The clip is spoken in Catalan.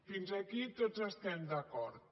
fins aquí tots estem d’acord